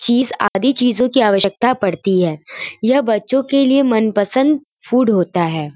चीज आदि चीजों की आवश्यकता पड़ती है। यह बच्चों के लिए मनपसंद फूड होता है।